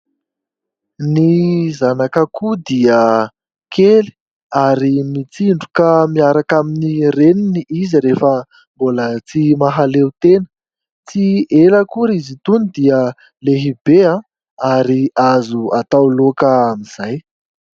Ny zanak'akoho dia kely ary mitsindroka miaraka amin'ny Reniny izy rehefa mbola tsy mahaleo tena. Tsy ela akory izy itony dia lehibe ary azo atao laoka amin'izay.